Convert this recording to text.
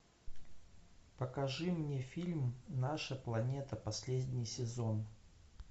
покажи мне фильм наша планета последний сезон